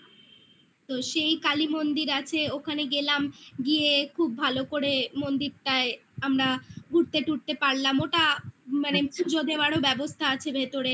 তো সেই কালী মন্দির আছে ওখানে গেলাম গিয়ে খুব ভালো করে মন্দিরটায় আমরা ঘুরতে টুরতে পারলাম ওটা মানে পুজো দেওয়ারও ব্যবস্থা আছে ভেতরে